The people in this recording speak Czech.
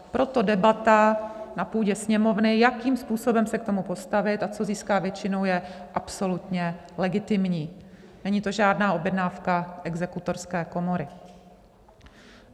Proto debata na půdě Sněmovny, jakým způsobem se k tomu postavit a co získá většinu, je absolutně legitimní, není to žádná objednávka Exekutorské komory.